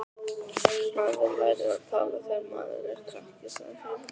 Maður lærir að tala þegar maður er krakki, sagði Heiða.